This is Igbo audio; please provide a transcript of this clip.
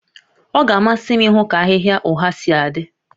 Ọ ga-amasị m ịhụ ka ahịhịa ụgha si adị